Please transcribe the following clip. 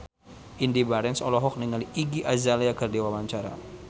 Indy Barens olohok ningali Iggy Azalea keur diwawancara